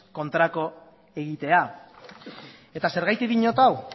kontrakoa egitea eta zergatik diot hau